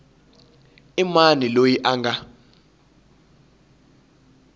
i mani loyi a nga